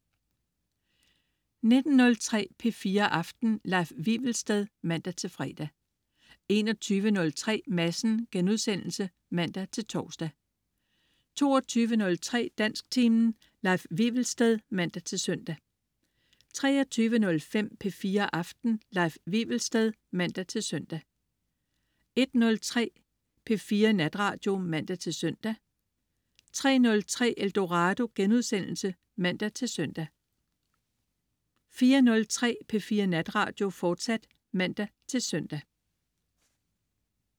19.03 P4 Aften. Leif Wivelsted (man-fre) 21.03 Madsen* (man-tors) 22.03 Dansktimen. Leif Wivelsted (man-søn) 23.05 P4 Aften. Leif Wivelsted (man-søn) 01.03 P4 Natradio (man-søn) 03.03 Eldorado* (man-søn) 04.03 P4 Natradio, fortsat (man-søn)